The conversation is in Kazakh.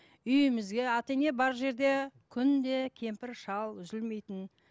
үйімізге ата ене бар жерде күнде кемпір шал үзілмейтін